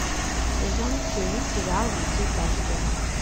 сезон семь сериал во все тяжкие